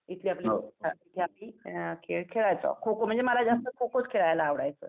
इथली आपली तिथे आपली खेळ खेळायचो. खो-खो म्हणजे मला जास्त खो-खोचं खेळायला आवडायचं.